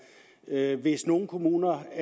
hvis nogen kommuner